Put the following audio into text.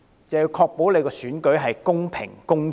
就是要確保選舉公平、公正。